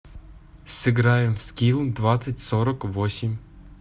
сыграем в скилл двадцать сорок восемь